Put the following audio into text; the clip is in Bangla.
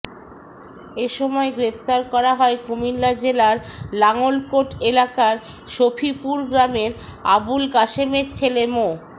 এ সময় গ্রেপ্তার করা হয় কুমিল্লা জেলার লাঙ্গলকোট এলাকার শফিপুর গ্রামের আবুল কাশেমের ছেলে মো